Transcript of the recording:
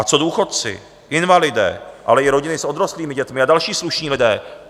A co důchodci, invalidé, ale i rodiny s odrostlými dětmi a další slušní lidé?